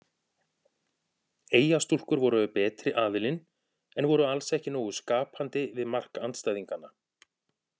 Eyjastúlkur voru betri aðilinn en voru alls ekki nógu skapandi við mark andstæðinganna.